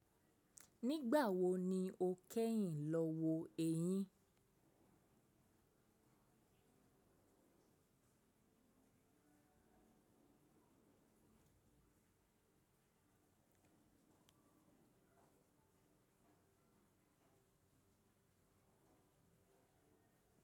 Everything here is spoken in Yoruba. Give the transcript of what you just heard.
Nígbà wo ni o kẹ́yìn lọ wo ẹ̀yín?